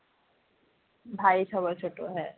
ভাই সবার ছোট হ্যাঁ